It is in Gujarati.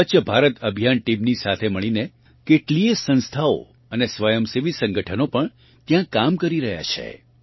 સ્વચ્છ ભારત અભિયાન ટીમની સાથે મળીને કેટલીયે સંસ્થાઓ અને સ્વયંસેવી સંગઠનો પણ ત્યાં કામ કરી રહ્યાં છે